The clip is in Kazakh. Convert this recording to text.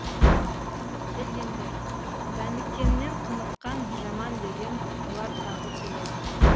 келгендер дәніккеннен құныққан жаман деген олар тағы келеді